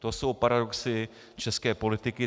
To jsou paradoxy české politiky.